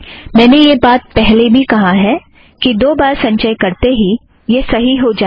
मैंने यह बात पहले भी कहा है कि दो बार संचय करते ही यह सही हो जाएगा